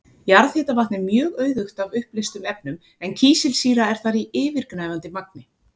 Jarðhitavatn er mjög auðugt af uppleystum efnum en kísilsýra er þar í yfirgnæfandi magni.